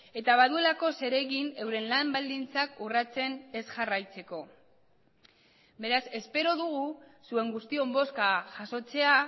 eta baduelako zeregin euren lan baldintzak urratzen ez jarraitzeko beraz espero dugu zuen guztion bozka jasotzea